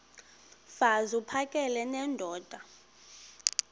mfaz uphakele nendoda